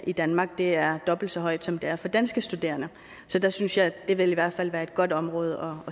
i danmark er dobbelt så højt som det er for danske studerende så det synes jeg i hvert fald vil være et godt område